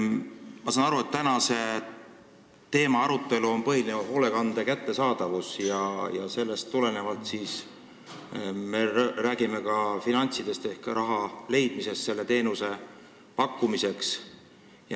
Ma saan aru, et tänase arutelu teema on hoolekande kättesaadavus ja sellest tulenevalt me räägime ka finantsidest ehk raha leidmisest selle teenuse pakkumiseks.